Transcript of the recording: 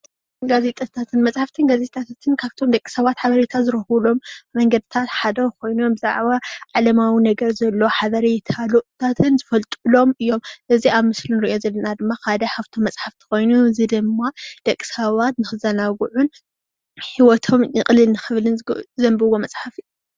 ጋዜጣታታትን መፅሓፍትን ፥ ጋዜጣታታትን መፅሓፍትን ኻፍቶም ደቂ ሰባት ሓቤሬ ዝረኽብ ሓቤረታ ዝረኽብሎምነኽብለሎምን በሊሕ ኣእሞሮ ንኽህልዎም የገልገል። እዙ ድሜማ ደቅ ሰባት